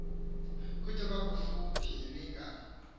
kude kufuphi ninga